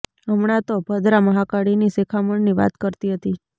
હમણાં તો ભદ્રા મહાકાળીની શિખામણની વાત કરતી હતી